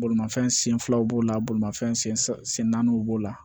Bolimafɛn sen filaw b'o la bolimafɛn sen naaniw b'o la